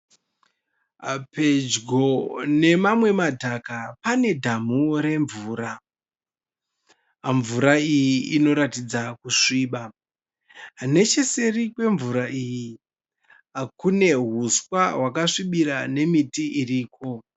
Pedyo nemamwe madhaka panedhamu remvura. Mvura iyi inotaridza kusviba. Necheseri kwemvura iyi kune uswa hwakasvibira nemiti iripo.